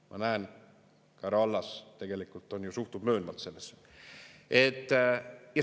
Ma näen, härra Allas tegelikult suhtub möönvalt sellesse.